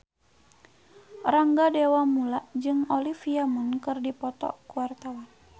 Rangga Dewamoela jeung Olivia Munn keur dipoto ku wartawan